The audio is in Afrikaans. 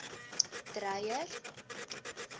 dreyer